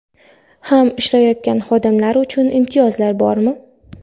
ham ishlayotgan xodimlar uchun imtiyozlar bormi?.